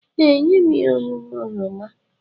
Ee, nye m ihe ọṅụṅụ oroma.